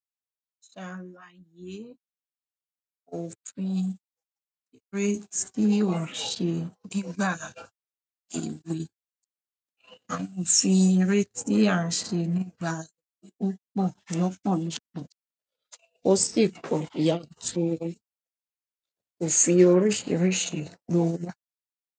Ṣàlàyé òfin eré tí ó ṣe nígbà èwe. Àwọn òfin eré tí a ṣe nígbà èwe opọ̀ lọ́pọ̀lọ́pọ̀, ó sì pọ̀ yàturu òfin oríṣiríṣi lo wá.